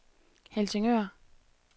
Helsingør